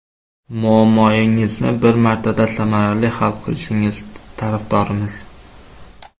Muammoyingizni bir martada samarali hal qilishingiz tarafdorimiz!